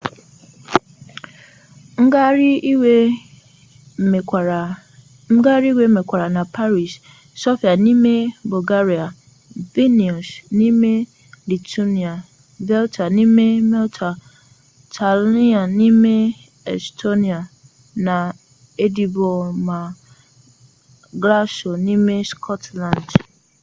ngagharị iwe mekwara na paris sofia n'ime bulgaria vilnius n'ime lithuania valetta n'ime malta tallinn n'ime estonia na edinburgh ma glasgow n'ime scotland